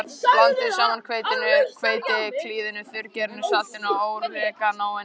Blandið saman hveitinu, hveitiklíðinu, þurrgerinu, saltinu og óreganóinu.